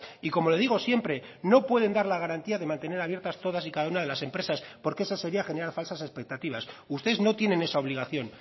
y como le digo siempre no pueden dar la garantía de mantener abiertas todas y cada una de las empresas porque eso sería generar falsas expectativas ustedes no tienen esa obligación